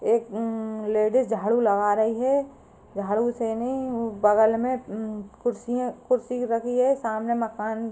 एक उं लेडीज झाड़ू लगा रही है। झाड़ू से नहीं बगल में उं कुर्सियां कुर्सी रखी है। सामने मकान --